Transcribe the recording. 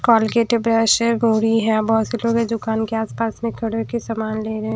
Colgate हैं brush हैं बोरी है बहोत से लोग हैं दुकान के आसपास खड़े होके सामान ले रहे हैं।